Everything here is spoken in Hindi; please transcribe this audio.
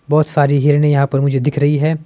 बहोत सारी हिरने यहां पर मुझे दिख रही है।